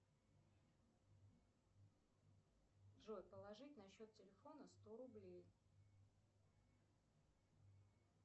джой положить на счет телефона сто рублей